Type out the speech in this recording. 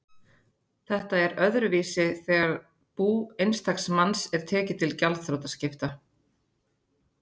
Þetta er öðruvísi þegar bú einstaks manns er tekið til gjaldþrotaskipta.